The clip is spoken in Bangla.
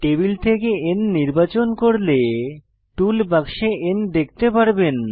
টেবিল থেকে N নির্বাচন করলে টুল বাক্সে N দেখতে পারবেন